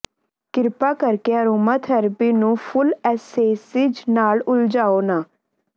ਕਿਰਪਾ ਕਰਕੇ ਐਰੋਮਾਥੈਰੇਪੀ ਨੂੰ ਫੁੱਲ ਐਸੇਸਿਜ਼ ਨਾਲ ਉਲਝਾਓ ਨਾ